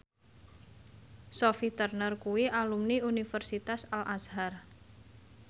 Sophie Turner kuwi alumni Universitas Al Azhar